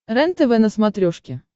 рентв на смотрешке